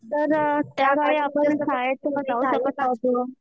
तर त्या काळी आपण शाळेत जाऊ शकत नव्हतो.